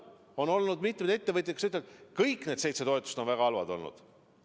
On olnud mitmeid ettevõtjaid, kes ütlevad, et kõik need seitse toetust on väga halvad olnud.